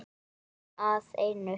Orðin að einu.